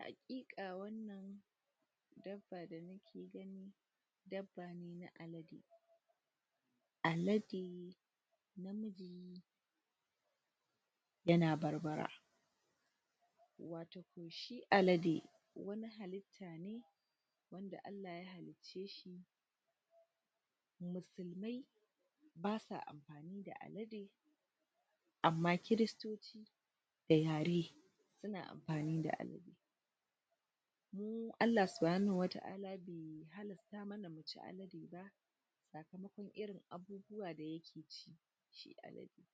Hakika wannan dabba da muke gani, dabba ne na alade alade na miji yana barbara alade, wani halita ne wanda Allah ya hallice shi, musulmai basu amfani da alade Amma christoci da yare suna amfani da alade. Allah suwannan wata arna bai halarta mana mu ci alade ba tsakamokon irin abubuwan da yake ci, shi alade.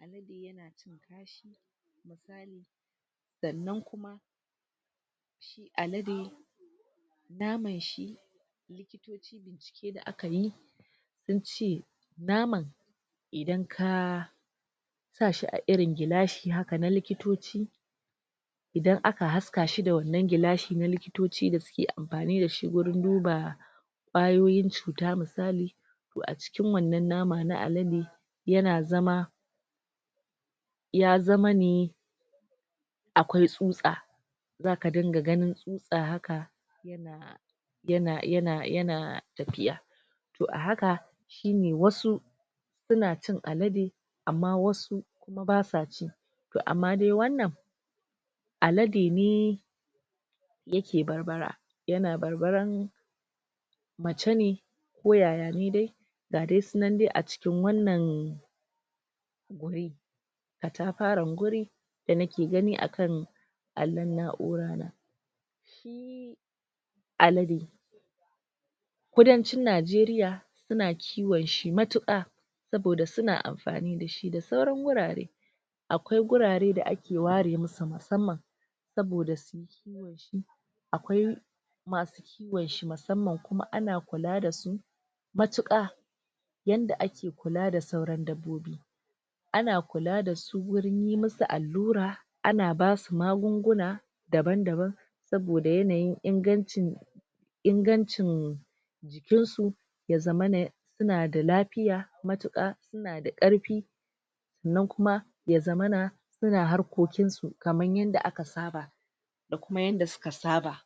Alade yana cin kashi misali, tsannan kuma shi alade, naman shi likitoci bincike da akayi, nace naman idan ka sa shi a wani gilashi haka idan aka haska shi da wannan gilashin, likitoci da suke amfani da shi wurin duba kwayoyin cutar, misali, toh a cikin wannan nama na alade yana zama ya zama ne akwai tsutsa zaka dinga ganin tsutsa haka yana tafiya toh a haka shi ne wasu suna cin alade amma wasu basuwa ci toh amma dai wannan alade ne yake barbara yana barbaran mace ne ko yaya ne dai ga dai suna dai a cikin wannan wuri atafaran wuri da nake gani akan allon na'ura na alade kudancin Najeriya suna kiwon shi matuka saboda suna amfani da shi da sauran wurare akwai wurare da ake ware musu masamman saboda su yi akwai masu kiwon shi, musamman ana kula da su matuka yanda ake kula da sauran dabbobi ana kula da su wurin yin musu allura, ana basu magunguna daban daban saboda yanayin ingancin ingancin jikin su ya zamana suna da lafiya, matuka, suna da karfi sannan kuma ya zamana suna harkokin su kaman yadda aka saba